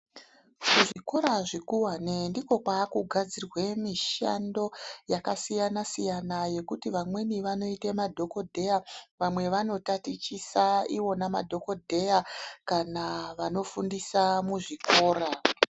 Zvikora zvikuwani ndiko kwakugadzirwa mishando yakasiyana siyana yekuti vamweni vanoita madhokodheya vamweni vakotatichisa iwona madhokodheya kana vanofundisa muzvikora.